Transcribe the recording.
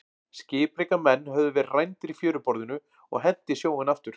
Skipreika menn höfðu verið rændir í fjöruborðinu og hent í sjóinn aftur.